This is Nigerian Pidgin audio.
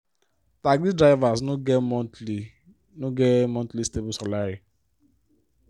taxi drivers no get monthly no get monthly stable salary.